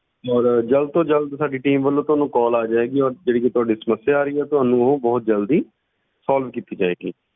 ਔਰ ਜ਼ਲਦ ਤੋਂ ਜ਼ਲਦ ਸਾਡੀ team ਵੱਲੋਂ ਤੁਹਾਨੂੰ call ਆ ਜਾਏਗੀ ਔਰ ਜਿਹੜੀ ਕਿ ਤੁਹਾਡੀ ਸਮੱਸਿਆ ਆ ਰਹੀ ਹੈ ਤੁਹਾਨੂੰ ਉਹ ਬਹੁਤ ਜ਼ਲਦੀ solve ਕੀਤੀ ਜਾਏਗੀ।